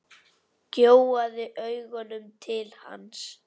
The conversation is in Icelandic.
Gjóaði augunum til hans.